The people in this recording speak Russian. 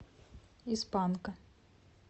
из панка